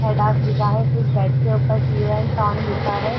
Adidas लिखा है कुछ बैट के ऊपर टी ओ एन लिखा है।